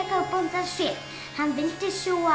á bóndans fé hann vildi sjúga